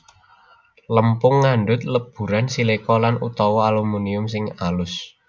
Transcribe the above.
Lempung ngandhut leburan silika lan utawa aluminium sing alus